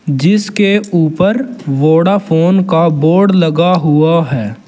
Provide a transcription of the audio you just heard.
जिसके ऊपर वोडाफोन का बोर्ड लगा हुआ है।